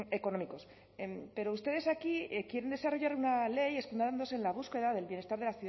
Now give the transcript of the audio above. económicos pero ustedes aquí quieren desarrollar una ley escudándose en la búsqueda del bienestar